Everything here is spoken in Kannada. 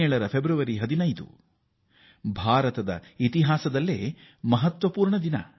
2017ರ ಫೆಬ್ರವರಿ 15 ಭಾರತಕ್ಕೆ ಅತೀವ ಹೆಮ್ಮೆಯ ದಿನ